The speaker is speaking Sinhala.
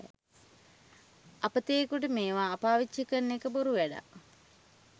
අපතයෙකුට මේවා පාවිච්චි කරන එක බොරු වැඩක්.